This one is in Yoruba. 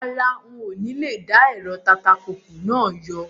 Rárá, ń ó ní lè dá ẹ̀rọ tatapùpù náà yọ.